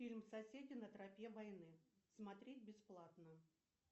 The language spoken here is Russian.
фильм соседи на тропе войны смотреть бесплатно